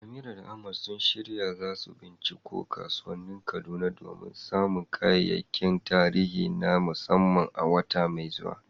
Amira da Ahmad sun shirya za su binciko kasuwannin Kaduna domin samun kayayyakin tarihi na musamman a wata mai zuwa.